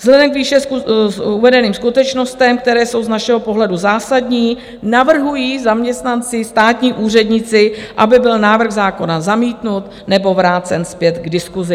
Vzhledem k výše uvedeným skutečnostem, které jsou z našeho pohledu zásadní, navrhují zaměstnanci, státní úředníci, aby byl návrh zákona zamítnut nebo vrácen zpět k diskuzi.